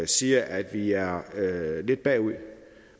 siger at vi er lidt bagud